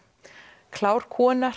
kláru konur